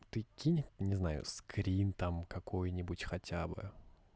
ты кинь не знаю скрин там какой-нибудь хотя бы